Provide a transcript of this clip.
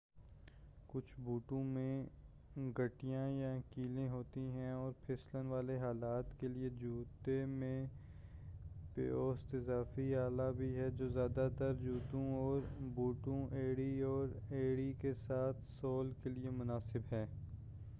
کچھ بوٹوں میں گھنڈیاں یا کیلیں ہوتی ہیں اور پھسلن والے حالات کے لئے جوتے میں پیوست اضافی آلہ بھی ہے جو زیادہ تر جوتوں اور بوٹوں ایڑی اور ایڑی کے ساتھ سول کے لئے مناسب ہے